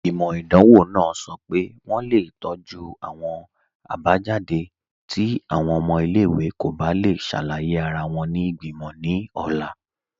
Igbimọ̀ idanwọ̀ nàà sọ́ pé wọǹ le tọju awọn abajadé̀ ti awọn ọ̀mọ̀ ilẹ̀-iwè kò bá le ṣàlàyé ara wọn ni igbimọ̀ ni ọ̀la